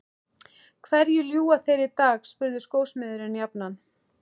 Hverju ljúga þeir í dag? spurði skósmiðurinn jafnan.